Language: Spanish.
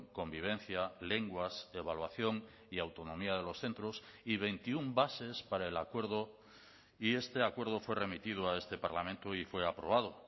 convivencia lenguas evaluación y autonomía de los centros y veintiuno bases para el acuerdo y este acuerdo fue remitido a este parlamento y fue aprobado